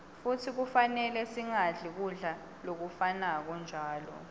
futsi kufanele singadli kudla lokufanako njalo